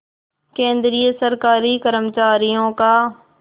केंद्रीय सरकारी कर्मचारियों का